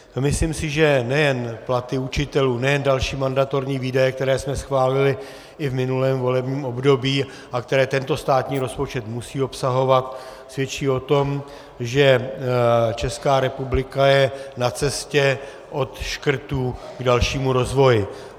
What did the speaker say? Myslím si, že nejen platy učitelů, nejen další mandatorní výdaje, které jsme schválili i v minulém volebním období a které tento státní rozpočet musí obsahovat, svědčí o tom, že Česká republika je na cestě od škrtů k dalšímu rozvoji.